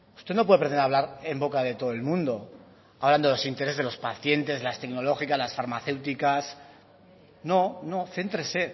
usted no puede pretender hablar en boca de todo el mundo hablando de los intereses de los pacientes de las tecnológicas de las farmacéuticas no no céntrese